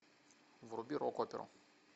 вруби рок оперу